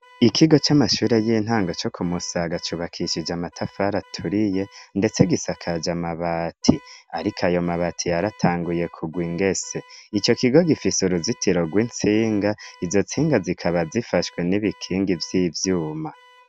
Ikigo c'amashure y'intango co ku Musaga cubakishije amatafari aturiye ndetse gisakaje amabati, ariko ayo mabati yaratanguye kugwa ingese, ico kigo gifise uruzitiro rw'intsinga izo ntsinga zikaba zifashwe n'ibikingi vy'ivyuma.